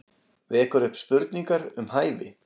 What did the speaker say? Vekur upp spurningar um hæfi